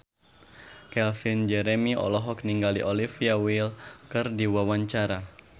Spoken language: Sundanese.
Calvin Jeremy olohok ningali Olivia Wilde keur diwawancara